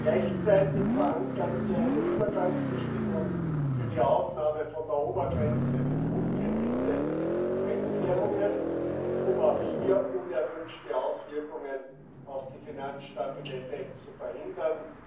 Gleichzeitig verankern wir eine Übergangsbestimmung für die Ausnahme von der Obergrenze für Großkredite in Fremdwährungen, um auch hier unerwünschte Auswirkungen auf die Finanzstabilität zu verhindern.